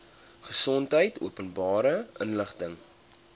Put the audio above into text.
gesondheid openbare inligting